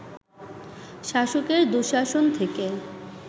শাসকের দুঃশাসন থেকে